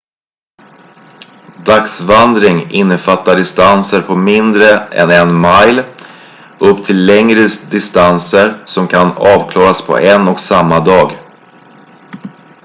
dagsvandring innefattar distanser på mindre än en mile upp till längre distanser som kan avklaras på en och samma dag